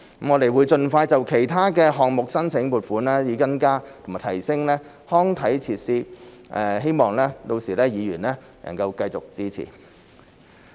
我們會盡快就其他項目申請撥款，以增加和提升康體設施，希望屆時議員能夠繼續支持。